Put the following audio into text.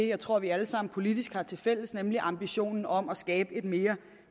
jeg tror vi alle sammen politisk har til fælles nemlig ambitionen om at skabe et mere